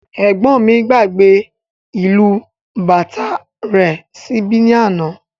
Ẹgbọn mí gbàgbé ìlù bàtá rẹ̀ síbí ní àna